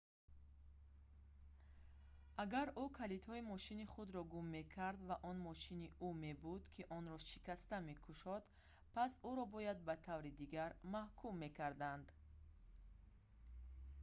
агар ӯ калидҳои мошини худро гум мекард ва он мошини ӯ мебуд ки онро шикаста мекушод пас ӯро бояд ба таври дигар маҳкум мекарданд